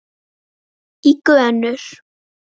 í gönur.